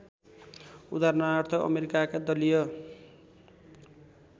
उदाहरणार्थ अमेरिकाका दलीय